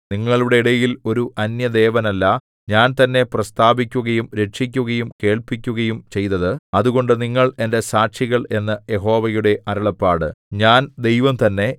നിങ്ങളുടെ ഇടയിൽ ഒരു അന്യദേവനല്ല ഞാൻ തന്നെ പ്രസ്താവിക്കുകയും രക്ഷിക്കുകയും കേൾപ്പിക്കുകയും ചെയ്തത് അതുകൊണ്ട് നിങ്ങൾ എന്റെ സാക്ഷികൾ എന്നു യഹോവയുടെ അരുളപ്പാട് ഞാൻ ദൈവം തന്നെ